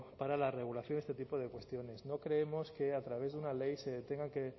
para la regulación de este tipo de cuestiones no creemos que a través de una ley se tenga que